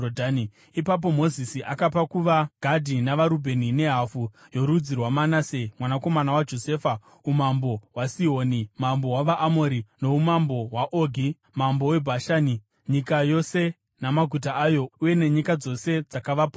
Ipapo Mozisi akapa kuvaGadhi, navaRubheni nehafu yorudzi rwaManase, mwanakomana waJosefa, umambo hwaSihoni mambo wavaAmori noumambo hwaOgi mambo weBhashani, nyika yose namaguta ayo uye nenyika dzose dzakavapoteredza.